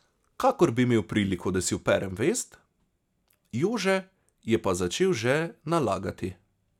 Kakor bi imel priliko, da si operem vest, Jože je pa začel že nalagati.